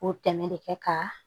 O tɛmɛ de kɛ ka